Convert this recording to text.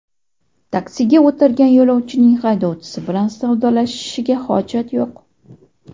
Taksiga o‘tirgan yo‘lovchining haydovchi bilan savdolashishiga hojat yo‘q.